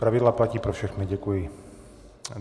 Pravidla platí pro všechny, děkuji.